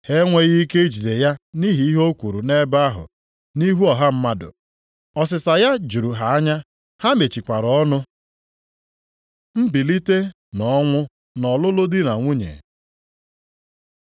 Ha enweghị ike ijide ya nʼihi ihe o kwuru nʼebe ahụ, nʼihu ọha mmadụ. Ọsịsa ya juru ha anya, ha mechikwara ọnụ. Mbilite nʼọnwụ na ọlụlụ di na nwunye